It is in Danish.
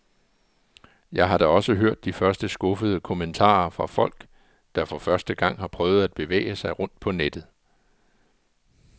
Jeg har da også hørt de første skuffede kommentarer fra folk, der for første gang har prøvet at bevæge sig rundt på nettet.